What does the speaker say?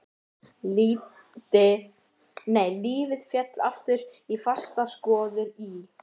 Lífið féll aftur í fastar skorður í